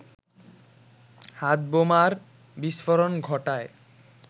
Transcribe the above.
হাতবোমার বিস্ফোরণ ঘটায়